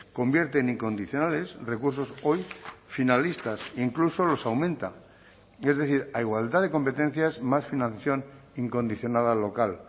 convierte en incondicionales recursos hoy finalistas incluso los aumenta es decir a igualdad de competencias más financiación incondicionada local